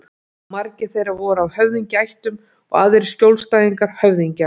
Margir þeirra voru af höfðingjaættum og aðrir skjólstæðingar höfðingja.